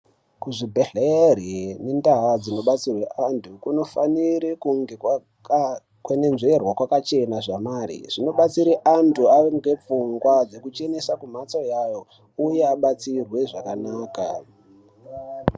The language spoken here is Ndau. Kuzvibhedhlere indaa dzinodetserwe anthu kunofanire kunge kwakakwenenzverwa kwakachena zvamare zvinobetsera anthu kuti ave nepfungwa dzekuchenesa kumhatso yayo uye abatsirwe zvakanaka.